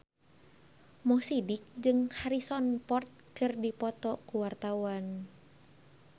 Mo Sidik jeung Harrison Ford keur dipoto ku wartawan